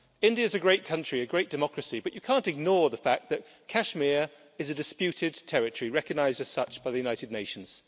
India is a great country, a great democracy, but you can't ignore the fact that Kashmir is a disputed territory, recognised as such by the United Nations.